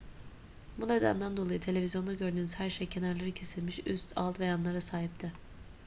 bu nedenden dolayı televizyonda gördüğünüz her şey kenarları kesilmiş üst alt ve yanlara sahipti